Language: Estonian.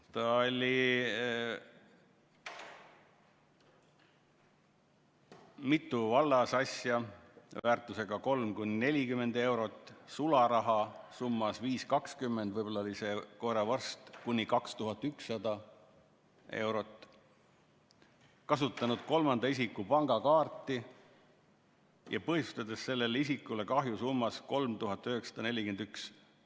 Ta oli mitu vallasasja väärtusega 3–40 eurot, sularaha summas 5.20 – võib-olla oli see koeravorst – kuni 2100 eurot, ta oli kasutanud kolmanda isiku pangakaarti, põhjustades sellega isikule kahju summas 3941 eurot.